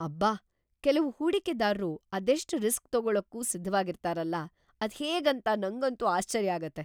ಅಬ್ಬಾ! ಕೆಲ್ವು ಹೂಡಿಕೆದಾರ್ರು ಅದೆಷ್ಟ್ ರಿಸ್ಕ್ ತಗೊಳಕ್ಕೂ ಸಿದ್ಧವಾಗಿರ್ತಾರಲ ಅದ್ಹೇಗೇಂತ ನಂಗಂತೂ ಆಶ್ಚರ್ಯ ಆಗುತ್ತೆ.